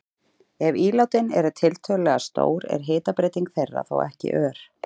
Ef ílátin eru tiltölulega stór er hitabreyting þeirra þó ekki ör.